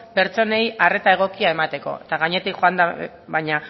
pertsonei arreta egokia emateko eta gainetik